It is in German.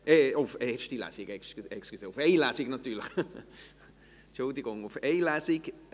Entschuldigen Sie: natürlich auf Lesung.